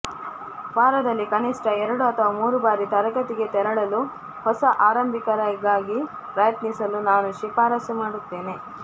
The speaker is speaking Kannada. ವಾರದಲ್ಲಿ ಕನಿಷ್ಠ ಎರಡು ಅಥವಾ ಮೂರು ಬಾರಿ ತರಗತಿಗೆ ತೆರಳಲು ಹೊಸ ಆರಂಭಿಕರಿಗಾಗಿ ಪ್ರಯತ್ನಿಸಲು ನಾನು ಶಿಫಾರಸು ಮಾಡುತ್ತೇನೆ